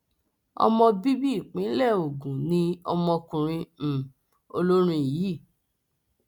ọmọ bíbí ìpínlẹ ogun ni ọmọkùnrin um olórin yìí